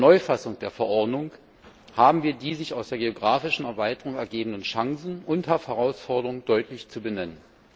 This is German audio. Mit der Neufassung der Verordnung haben wir die sich aus der geografischen Erweiterung ergebenden Chancen und Herausforderungen deutlich zu benennen.